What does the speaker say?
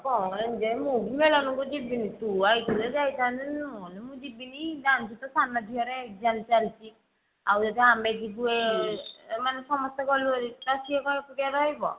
କଣ enjoy ମୁ ବି ମେଳଣ କୁ ଜିବିନି ତୁ ଆଇଥିଲେ ଯାଇଥାନ୍ତି ନହେଲେ ମୁଁ ଜିବିନି ଜାଣିଛୁ ତ ସାନ ଝିଅ ରେ exam ଚାଲିଛି ଆଉ ଏବେ ଆମେ ଯିବୁ ମାନେ ସମସ୍ତେ ଗଲୁ ହେରି ତ ସିଏ କଣ ଏକୁଟିଆ ରହିବ।